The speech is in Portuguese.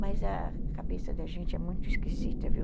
Mas a cabeça da gente é muito esquisita, viu?